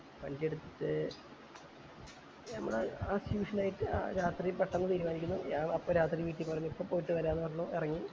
വണ്ടി എടുത്തിട്ട് നമ്മള് ആ ആ tuition ആയി ആ രാത്രി പെട്ടന്ന് തീരുമാനിക്കുന്നു ഞാൻ അപ്പൊ രാത്രി വീട്ടിൽ പറഞ്ഞു ഇപ്പൊ പോയിട്ട് വരം എന്ന് പറഞ്ഞു